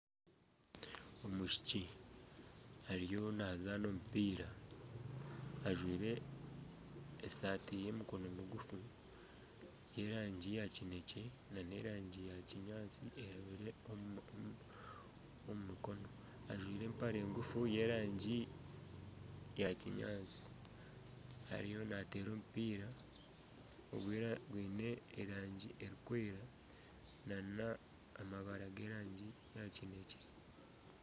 Omwishiki ariyo nazaana omupiira ajwaire esaati y'emikono migufu y'erangi ya kinekye nana erangi ya kinyaatsi eiriire omu mikono. Ajwaire empare ngufu y'erangi ya kinyaatsi. Ariyo nateera omupiira gwiine erangi erikwera nana amabara g'erangi ya kinekye.